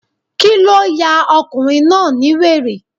Kíló ya ọkùnrin náà bí wèrè?